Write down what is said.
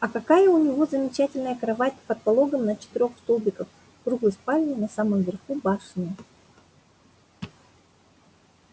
а какая у него замечательная кровать под пологом на четырёх столбиках в круглой спальне на самом верху башни